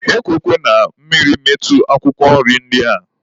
E kwekwana ka mmiri metụ akwụkwọ nri ndị a.